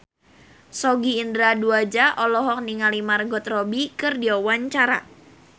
Sogi Indra Duaja olohok ningali Margot Robbie keur diwawancara